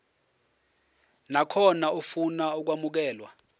nakhona ofuna ukwamukelwa